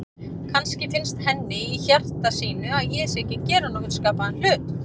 Kannski finnst henni í hjarta sínu að ég sé ekki að gera nokkurn skapaðan hlut.